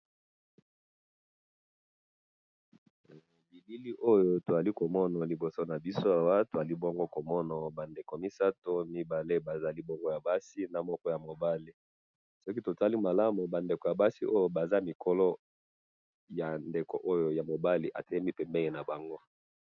bilili oyo tozali komona liboso nabiso awa, tozali bongo komona ba ndeko misatu, mibale bazali bongo ya basi, na moko ya mobali, soki totali malamu ba ndeko ya basi oyo baza mikolo ya ndeko oyo ya mobali atelemi pembeni na bango